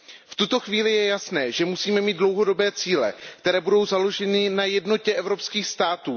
V tuto chvíli je jasné, že musíme mít dlouhodobé cíle, které budou založeny na jednotě evropských států.